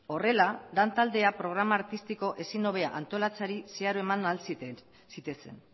horrela lantaldea programa artistiko ezin hobea antolatzeari zeharo eman ahal zitezen